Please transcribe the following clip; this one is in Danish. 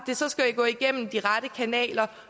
det så skal gå igennem de rette kanaler